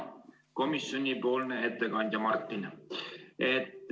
Hea komisjoni ettekandja Martin!